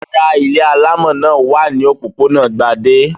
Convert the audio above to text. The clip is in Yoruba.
Rárá, ilé alámọ̀ náà wà ní òpópónà Gbadé.